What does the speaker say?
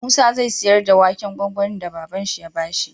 Musa zai siyar da waken gwangwanin da baban shi ya bashi